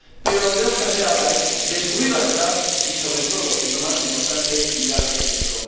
lo que tenemos que hacer ahora es descubrir la verdad y, sobre todo, y lo más importante, mirar al futuro.